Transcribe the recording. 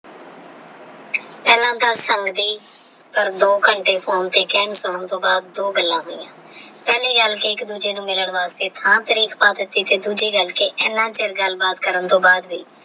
ਇਹਨਾਂ ਦਾ ਸਮਝੀ ਪਰ ਦੋ ਘੰਟੇ phone ਤੇ ਸੁਣਨ ਤੋਂ ਬਾਅਦ ਦੋ ਗੱਲਾਂ ਹੋਇਆ ਪਹਿਲੀ ਗੱਲ ਕੀ ਇੱਕ ਦੂਜੇ ਨੂੰ ਮਿਲਣ ਵਾਸਤੇ ਥਾਂ ਤਾਰੀਕ ਪਾ ਦਿੱਤੀ ਤੇ ਦੂਜੀ ਗੱਲ ਕੀ।